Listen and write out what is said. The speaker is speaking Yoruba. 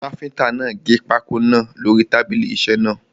Káfíntà náà máa gẹ pákó náà lórí tábìlì isẹ́ náà.